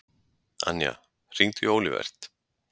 Anja, hringdu í Olivert.